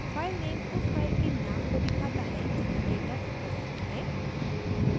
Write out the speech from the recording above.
filename उस file के नाम को दिखाता है जहाँ डेटा लिखा जाना है